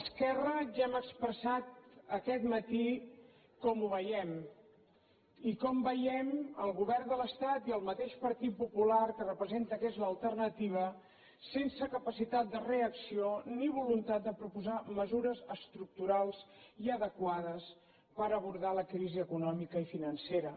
esquerra ja hem expressat aquest matí com ho veiem i com veiem el govern de l’estat i el mateix partit popular que representa que és l’alternativa sense capacitat de reacció ni voluntat de proposar mesures estructurals i adequades per abordar la crisi econòmica i financera